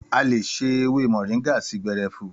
Àlé sò èwé mọrińgà sii gbẹrẹfú